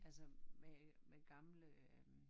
Altså med med gamle øh